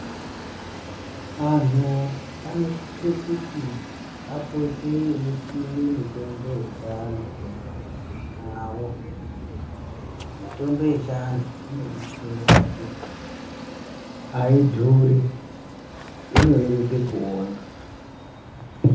Anhu anosise kuti apote eisime mitombo yechiantu mumamhatso mawo, mitombo yechiantu inodersere pakuti aidhuri inoreruke kuona.